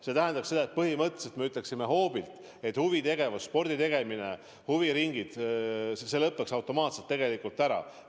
See tähendaks seda, et põhimõtteliselt me ütleksime hoobilt, et huvitegevus, sporditegemine, huviringid – see kõik lõpeks automaatselt ära.